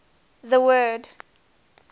the word